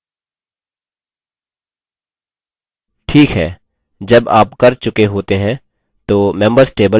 ठीक है जब आप कर चुके होते हैं तो members table इस तरह दिखाई देगा